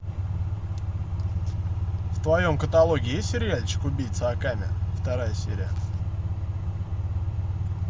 в твоем каталоге есть сериальчик убийца акаме вторая серия